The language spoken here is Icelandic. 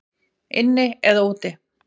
Inni eða úti?